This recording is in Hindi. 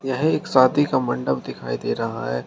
यह एक शादी का मंडप दिखाई दे रहा है।